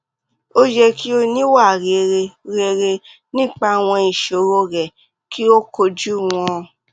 o yẹ ki o ni iwa rere rere nipa awọn iṣoro rẹ ki o koju wọn